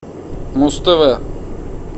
муз тв